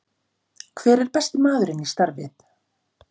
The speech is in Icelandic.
Hver er besti maðurinn í starfið?